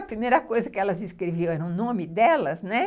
A primeira coisa que elas escreviam era o nome delas, né?